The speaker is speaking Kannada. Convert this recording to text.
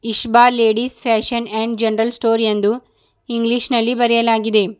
Ishba ladies fashion and general store ಎಂದು ಇಂಗ್ಲಿಷ್ ನಲ್ಲಿ ಬರೆಯಲಾಗಿದೆ.